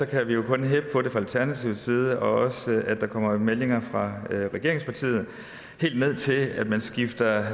kan vi jo kun heppe på det fra alternativets side også at der kommer meldinger fra regeringspartiet helt ned til at man skifter